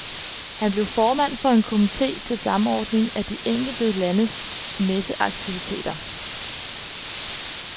Han blev formand for en komite til samordning af de enkelte landes messeaktiviteter.